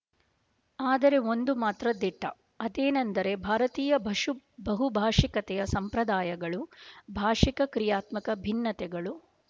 ಆದರೆ ಒಂದು ಮಾತು ಮಾತ್ರ ದಿಟ ಅದೇನೆಂದರೆ ಭಾರತದ ಬಹುಭಾಷಿಕತೆಯ ಸಂಪ್ರದಾಯಗಳು ಭಾಷಿಕ ಕ್ರಿಯಾತ್ಮಕ ಭಿನ್ನತೆಗಳು